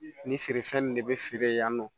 Ni feerefɛn nun de bɛ feere yan nɔ